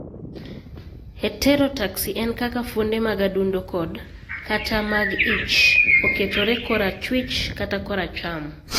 Heterotaxy en kaka fuonde mag adundo kod/kata mag ich oketore korachwich kata koracham.